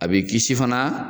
A b'e kisi fana